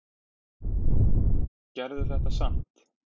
Gerðu þetta samt.